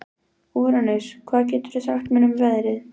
Úranus, hvað geturðu sagt mér um veðrið?